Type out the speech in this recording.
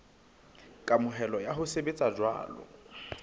kamohelo ya ho sebetsa jwalo